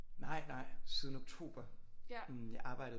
Nej nej siden oktober jeg arbejdede